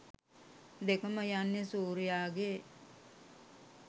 දෙකම යන්නෙ සූර්යාගේ